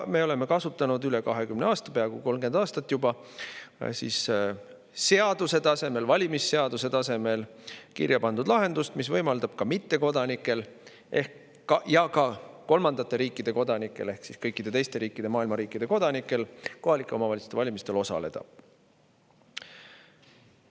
Me oleme kasutanud üle 20 aasta, peaaegu 30 aastat juba, seaduse tasemel, valimisseaduse tasemel kirjapandud lahendust, mis võimaldab ka mittekodanikel ja kolmandate riikide kodanikel ehk kõikide teiste riikide, maailma teiste riikide kodanikel kohaliku omavalitsuse valimistel osaleda.